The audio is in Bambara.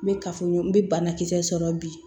N bɛ kafoɲɔgɔn bɛ banakisɛ sɔrɔ bi